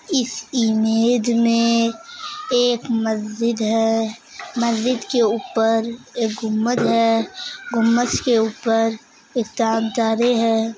इस इमेज में एक मस्जिद है। मस्जिद के उप्पर एक गुम्मद है। गुम्मद के उप्पर एक चाँद-तारे हैं।